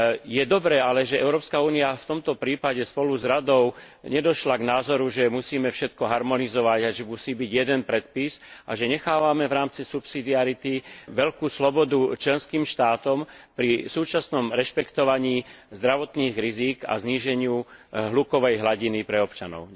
Je dobré ale, že Európska únia v tomto prípade spolu s Radou nedošla k názoru, že musíme všetko harmonizovať a musí byť jeden predpis a že nechávame v rámci subsidiarity veľkú slobodu členským štátom pri súčasnom rešpektovaní zdravotných rizík a zníženiu hlukovej hladiny pre občanov.